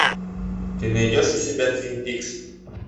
ты найдешь у себя твин пикс